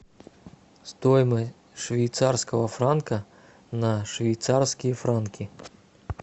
стоимость швейцарского франка на швейцарские франки